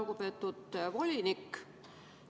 Lugupeetud volinik!